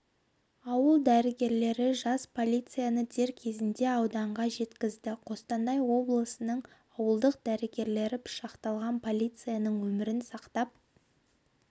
ауыл дәрігерлері жас полицияны дер кезінде ауданға жеткізді қостанай облысының ауылдық дәрігерлері пышақталған полицияның өмірін сақтап